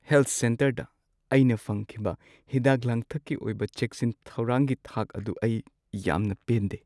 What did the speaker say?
Health ꯁꯦꯟꯇꯔꯗ ꯑꯩꯅ ꯐꯪꯈꯤꯕ ꯍꯤꯗꯥꯛ-ꯂꯥꯡꯊꯛꯀꯤ ꯑꯣꯏꯕ ꯆꯦꯛꯁꯤꯟ ꯊꯧꯔꯥꯡꯒꯤ ꯊꯥꯛ ꯑꯗꯨ ꯑꯩ ꯌꯥꯝꯅ ꯄꯦꯟꯗꯦ ꯫